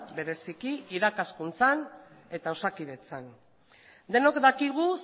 bereziki irakaskuntzan eta osakidetzan denok dakigu